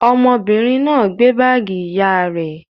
Ọmọbìnrin náà gbé báágì ìyá rẹ̀?